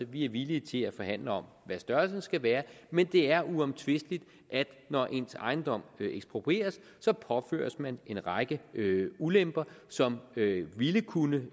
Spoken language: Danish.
vi er villige til at forhandle om hvad størrelsen skal være men det er uomtvisteligt at når ens ejendom bliver eksproprieret så påføres man en række ulemper som ville kunne